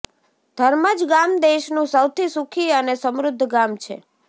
ધર્મજ ગામ દેશનું સૌથી સુખી અને સમૃદ્ધ ગામ છે